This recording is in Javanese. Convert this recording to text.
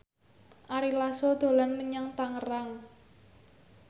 Ari Lasso dolan menyang Tangerang